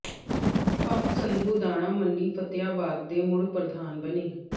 ਪੰਮ ਸੰਧੂ ਦਾਣਾ ਮੰਡੀ ਫਤਿਆਬਾਦ ਦੇ ਮੁੜ ਪ੍ਰਧਾਨ ਬਣੇ